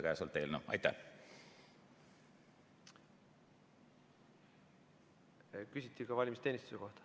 Küsiti ka valimisteenistuse kohta.